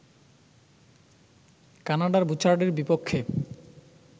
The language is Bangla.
কানাডার বুচার্ডেরবিপক্ষে